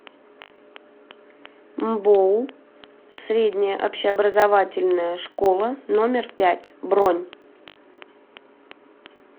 мбоу средняя общеобразовательная школа номер пять бронь